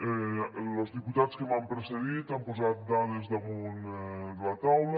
los diputats que m’han precedit han posat dades damunt la taula